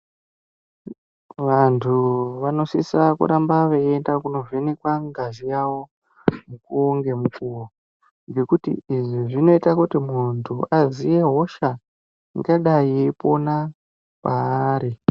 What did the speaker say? Vantu vanosisa kuramba veienda kovhenekwa ngazi yavo mukuwo ngemukuwo ngekuti izvi zvinoita kuti muntu aziye hosha ingadai yeipona paari.